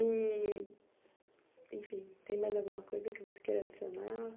E, enfim, tem mais alguma coisa que você queira adicionar?